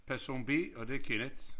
Person B og det er Kenneth